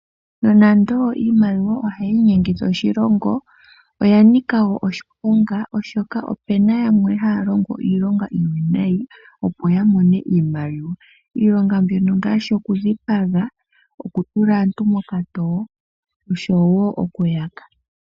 Nonando iimaliwa ohayi inyengitha oshilongo, oya nika wo oshiponga oshoka opena yamwe haya longo iilonga iiwinayi opo ya mone oshimaliwa, iilonga mbino ngaashi oku dhipaga, oku tula aantu mokatowo oshowo okuyaka.